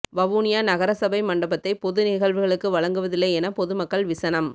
வவுனியா நகரசபை மண்டபத்தை பொது நிகழ்வுகளுக்கு வழங்குவதில்லை என பொதுமக்கள் விசனம்